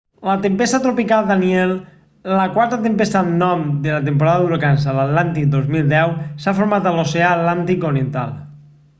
la tempesta tropical danielle la quarta tempesta amb nom de la temporada d'huracans a l'atlàntic 2010 s'ha format a l'oceà atlàntic oriental